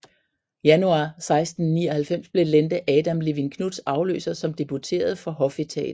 Januar 1699 blev Lente Adam Levin Knuths afløser som deputeret for hofetaten